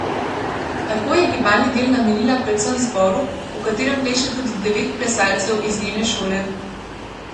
Tako je gibalni del namenila predvsem zboru, v katerem pleše tudi devet plesalcev iz njene šole.